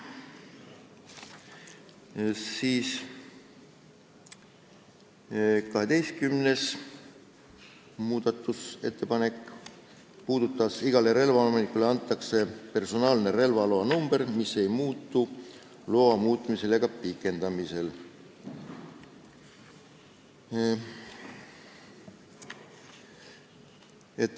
12. muudatusettepanek: "Igale relvaomanikule antakse personaalne relvaloa number, mis ei muutu loa muutmisel ega pikendamisel.